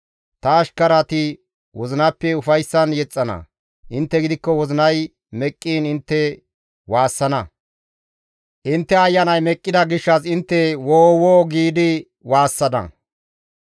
Ta ashkarati wozinappe ufayssan yexxana; intte gidikko wozinay meqqiin intte waassana; intte ayanay meqqida gishshas intte woo woo giidi waassana.